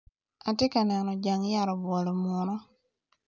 Atye ka neno jang yat obwolo munu